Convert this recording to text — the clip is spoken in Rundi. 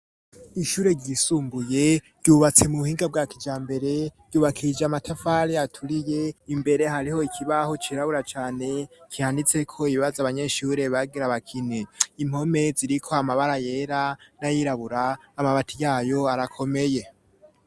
Ishure ryisumbuye ryubatse mu buhinga bwa kijambere, ryubakishije amatafari aturiye, imbere hariho ikibaho cirabura cane, canditseko ibibazo abanyeshure bagira bakine, impome ziriko amabara yera n'ayirabura, amabati yayo arakomeye.